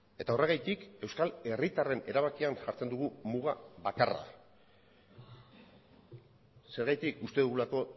eta horregatik euskal herritarren erabakian jartzen dugu muga bakarra zergatik uste dugulako